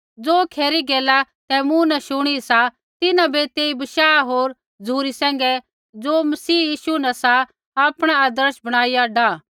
ज़ो खरी गैला तैं मूँ न शुणी सा तिन्हां बै तेई बशाह होर झ़ुरी सैंघै ज़ो मसीह यीशु न सा आपणा आदर्श बणाईया डाह